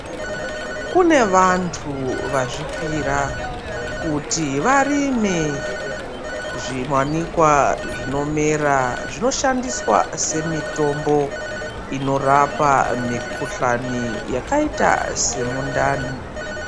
Kune vantu vazvipira kuti varime zviwanikwa zvinomera zvoshandiswa semitombo inorapa mikuhlani yakaita semundani.